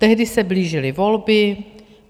Tehdy se blížily volby.